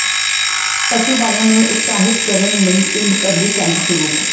ਪਸ਼ੂ ਪਾਲਣ ਨੂੰ ਉਤਸ਼ਾਹਿਤ ਕਰਨ ਲਈ ਪਿੰਡ ਪੱਧਰੀ ਕੈਂਪ ਸ਼ੁਰੂ